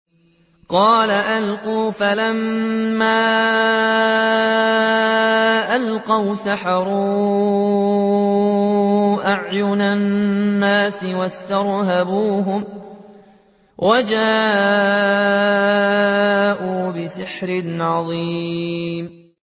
قَالَ أَلْقُوا ۖ فَلَمَّا أَلْقَوْا سَحَرُوا أَعْيُنَ النَّاسِ وَاسْتَرْهَبُوهُمْ وَجَاءُوا بِسِحْرٍ عَظِيمٍ